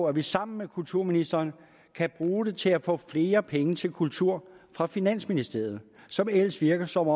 at vi sammen med kulturministeren kan bruge den til at få flere penge til kultur fra finansministeriet som ellers virker som